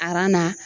na